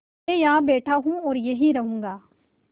मैं यहाँ बैठा हूँ और यहीं रहूँगा